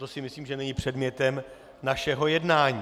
To si myslím, že není předmětem našeho jednání.